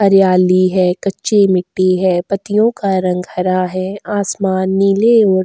हरियाली है कच्चे मिट्टी है पत्तियों का रंग हरा है आसमान नीले और --